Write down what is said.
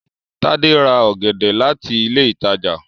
Tade rà ògèdè láti ilé ìtàjà